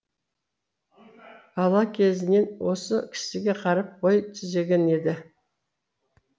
бала кезінен осы кісіге қарап бой түзеген еді